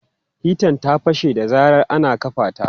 Hitan ta fashe da zarar ana kafa ta.